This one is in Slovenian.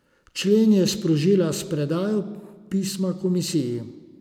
Člen je sprožila s predajo pisma komisiji.